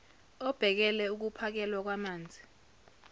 obhekele ukuphakelwa kwamanzi